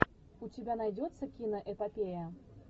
у тебя найдется киноэпопея